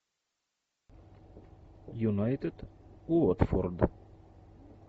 юнайтед уотфорд